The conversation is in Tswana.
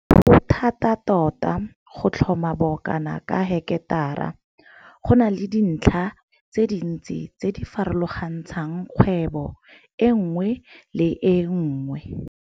Go thata tota go tlhoma bokana ka heketara. Go na le dintlha tse dintsi tse di farologantshang kgwebo e nngwe le e nngwe.